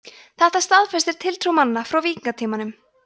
þetta staðfestir tiltrú manna frá víkingatímanum